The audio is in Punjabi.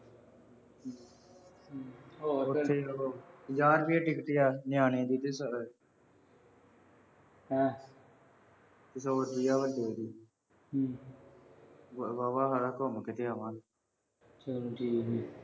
ਜਾਣ ਦੀ ਹੀ ਟਿਕਟ ਆ ਹੈਂ। ਕਿਸੇ ਹੋਰ ਹੂੰ। ਵਾਹਵਾ ਸਾਰਾ ਘੁੰਮ ਫਿਰ ਕੇ ਆਵਾਂਗੇ। ਹੂੰ ਠੀਕ ਏ ਬੀ।